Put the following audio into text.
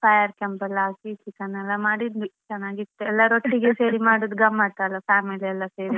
Fire camp ಎಲ್ಲಾ ಹಾಕಿ chicken ಎಲ್ಲಾ ಮಾಡಿದ್ವಿ ಚೆನಾಗಿತ್ತು ಎಲ್ಲರೊಟ್ಟಿಗೆ ಸೇರಿ ಮಾಡುದು ಗಮ್ಮತಲ್ವಾ family ಎಲ್ಲಾ ಸೇರಿ.